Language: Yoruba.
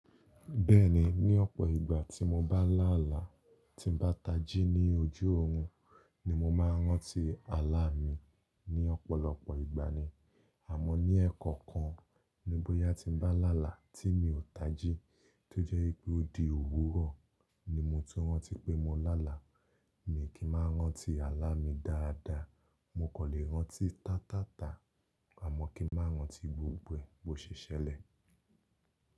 Bẹ́ẹ̀ni, ní ọ̀pọ̀ ìgbà tí mo bá láàlá, tí n bá tají ní ojú orun ni mo máa ń rántí àlá mi ní ọ̀pọ̀lọpọ̀ ìgbà ni. Àmọ́ ní ẹ̀ẹ̀kọ̀kan, níbóyá tí n bá làálàá tí mi ò tají, tó jẹ́ pé ó di òwúrọ̀ ni mo tó rántí pé mo láàlá. Mi kì í máa rántí àlá mi dáadáa. Mo kò lè rántí táa taa taa, àmọ́ kí n má rántí gbogbo è bo ṣe sẹlẹ̀.